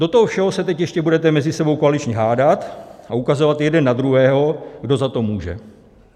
Do toho všeho se teď ještě budete mezi sebou koaličně hádat a ukazovat jeden na druhého, kdo za to může.